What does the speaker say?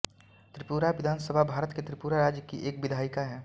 त्रिपुरा विधान सभा भारत के त्रिपुरा राज्य की एक विधायिका हैं